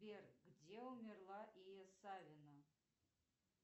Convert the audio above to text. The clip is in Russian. сбер где умерла ия савина